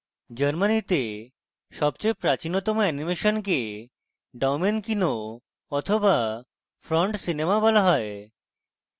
germany সবচেয়ে প্রাচীনতম অ্যানিমেশনকে daumenkino the front cinema বলা হয়